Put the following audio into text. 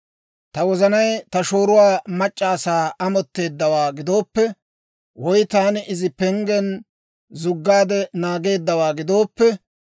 «Ta wozanay ta shooruwaa mac'c'a asaa amotteeddawaa gidooppe, woy taani Izi penggen zuggaade naageeddawaa gidooppe,